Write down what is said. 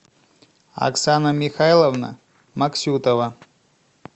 оксана михайловна максютова